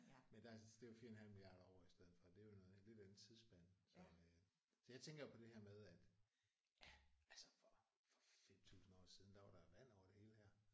Men der er så det er jo 4 en halv milliard år i stedet for det er jo noget lidt andet tidsspænd så øh så jeg tænker på det her med at ja altså for for 5000 år siden der var der vand over det hele her